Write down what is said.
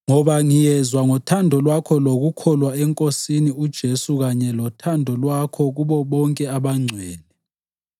ngoba ngiyezwa ngothando lwakho lokukholwa eNkosini uJesu kanye lothando lwakho kubo bonke abangcwele.